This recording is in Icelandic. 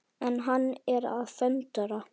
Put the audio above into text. En hann er að föndra.